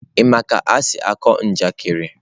Ị ma ka esi akọ njakịrị?